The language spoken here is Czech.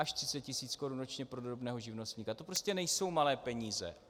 Až 30 tisíc korun ročně pro drobného živnostníka, to prostě nejsou malé peníze.